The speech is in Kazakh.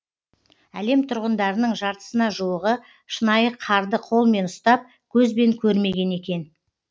әлем тұрғындарының жартысына жуығы шынайы қарды қолмен ұстап көзбен көрмеген екен